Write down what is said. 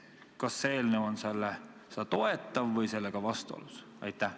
Kas see eelnõu on seda toetav või sellega vastuolus?